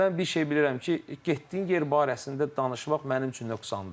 Mən bir şey bilirəm ki, getdiyin yer barəsində danışmaq mənim üçün nöqsandır.